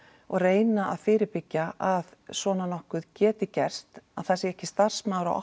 og reyna að fyrirbyggja að svona nokkuð geti gerst að það sé ekki starfsmaður á